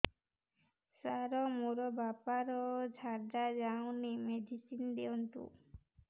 ସାର ମୋର ବାପା ର ଝାଡା ଯାଉନି ମେଡିସିନ ଦିଅନ୍ତୁ